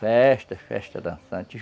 Festas, festas dançantes.